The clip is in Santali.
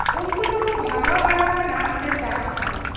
ᱩᱱᱠᱩ ᱫᱚᱠᱚ ᱵᱷᱟᱜᱟᱣ ᱵᱟᱲᱟ ᱟᱠᱟᱱᱟ ᱚᱱᱰᱮ ᱪᱟᱥ ᱠᱷᱚᱱ ᱾